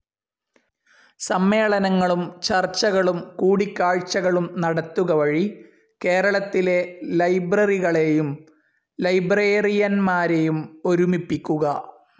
സമ്മേളനങ്ങളും ചർച്ചകളും കൂടിക്കാഴ്ചകളും നടത്തുക വഴി കേരളത്തിലെ ലൈബ്രറികളേയും ലൈബ്രേറിയൻമാരെയും ഒരുമിപ്പിക്കുക.